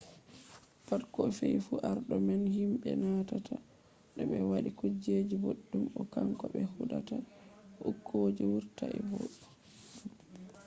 pat ko fe’i fu arɗo man hiɓe manata to ɓe waɗi kuje boɗɗum o kanko ɓe huɗata to okuje wurtaii boɗɗum